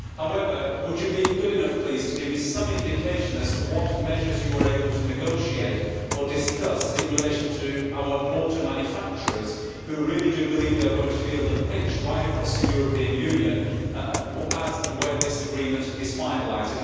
However, could you please give me some indication of what measures you were able to negotiate or discuss in relation to our motor manufacturers, who really do believe they are going to feel the pinch right across the European Union as and when this agreement is finalised?